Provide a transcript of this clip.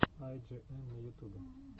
ай джи эм на ютубе